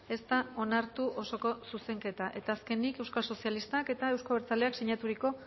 ez da onartu osoko zuzenketa eta azkenik euskal sozialistak eta euzko abertzaleak sinaturiko